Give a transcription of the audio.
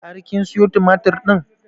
Har kin siyo tumatur ɗin?